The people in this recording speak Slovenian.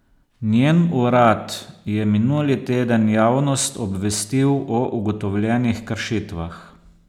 Njen urad je minuli teden javnost obvestil o ugotovljenih kršitvah.